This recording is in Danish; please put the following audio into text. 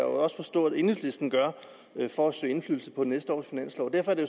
også forstå at enhedslisten har for at søge indflydelse på næste års finanslov derfor er det